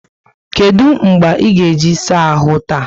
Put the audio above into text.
Kedụ mgbe ị ga-eji saa ahụ taa?